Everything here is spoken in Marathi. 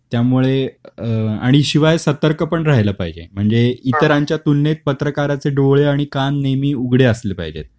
त्यामुळे अ आणि शिवाय सतर्क पण राहिल पाहिजे. म्हणजे इतरांच्या तुलनेत पत्रकाराचे डोळे आणि कान नेहमी उघडे असले पाहिजेत.